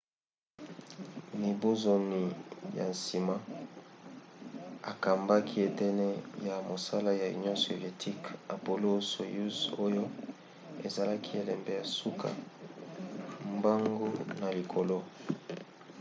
mibu zomi na nsima akambaki eteni ya mosala ya union soviétique apollo-soyouz oyo ezalaki elembo ya suka mbangu na likolo